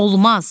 Olmaz!